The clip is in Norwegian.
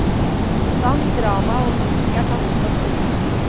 Sang, drama og musikk er tatt ut av skolen.